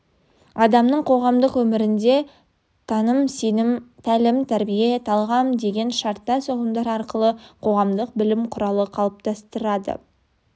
адамның қоғамдық өмірінде таным сенім тәлім-тәрбие талғам деген шарттас ұғымдар арқылы қоғамдық білім құралы қалыптастырады